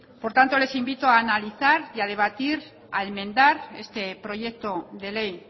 por tanto les invito a analizar y a debatir a enmendar este proyecto de ley